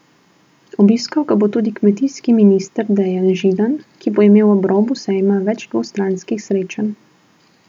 Obiskal ga bo tudi kmetijski minister Dejan Židan, ki bo imel ob robu sejma več dvostranskih srečanj.